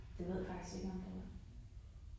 Det ved jeg faktisk ikke, om der var